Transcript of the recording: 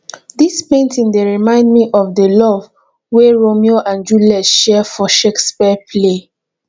dis painting dey remind me of the love wey romeo and juliet share for shakespeare play